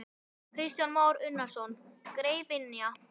Kristján Már Unnarsson: Greifynja?